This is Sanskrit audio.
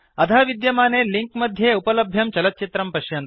अधः विद्यमाने लिंक मध्ये उपलभ्यं चलच्चित्रं पश्यन्तु